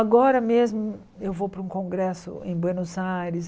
Agora mesmo eu vou para um congresso em Buenos Aires.